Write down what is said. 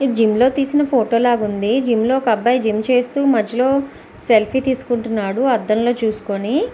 ఇది జిం లో తీసిన ఫోటో లాగా ఉంది జిం లో ఒక్క అబ్బాయి జిం చేస్తూ మధ్యలో సెల్ఫీ తీస్కుంటున్నాడు అద్దం లో చూసుకొని .